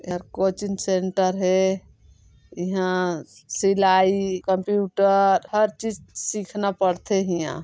ए हर coaching centre हे इन्हा सिलाई कंप्यूटर हर चीज सीखना पड़थे इन्हा।